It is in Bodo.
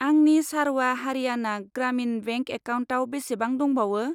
आंनि सारवा हारियाना ग्रामिन बेंक एकाउन्टाव बेसेबां दंबावो?